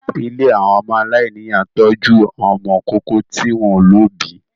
Ilé àwọn ọmọ aláìníyà ń tọ́jú àwọn ọmọ ìkókó tí wọ́n ò lóbìí